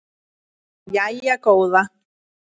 Jæja góða.